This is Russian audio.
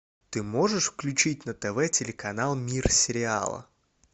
ты можешь включить на тв телеканал мир сериала